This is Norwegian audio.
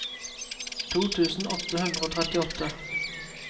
to tusen åtte hundre og trettiåtte